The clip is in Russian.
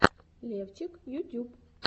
левчик ютюб